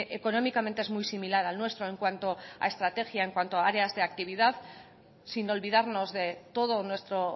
económicamente es muy similar al nuestro en cuanto a estrategia en cuanto a áreas de actividad sin olvidarnos de todo nuestro